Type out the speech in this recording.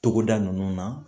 Togoda nunnu na